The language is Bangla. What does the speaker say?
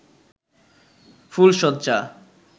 ফুলশয্যা